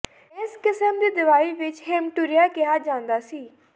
ਇਸ ਕਿਸਮ ਦੀ ਦਵਾਈ ਵਿੱਚ ਹੇਮਟੂਰੀਆ ਕਿਹਾ ਜਾਂਦਾ ਸੀ